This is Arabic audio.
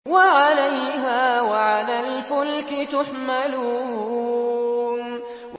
وَعَلَيْهَا وَعَلَى الْفُلْكِ تُحْمَلُونَ